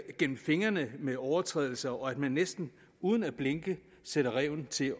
gennem fingre med med overtrædelser og at man næsten uden at blinke sætter ræven til